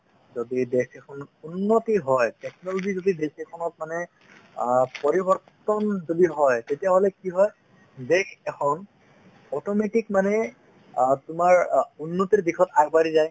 যদি দেশ এখনত উন্নতি হয় technology যদি দেশ এখনত মানে অ পৰিবৰ্তন যদি হয় তেতিয়াহ'লে কি হয় দেশ এখন automatic মানে অ তোমাৰ অ উন্নতিৰ দিশত আগবাঢ়ি যায়